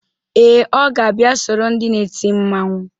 Ee, ọ ga-abịa soro ndị na-eti mmanwụ.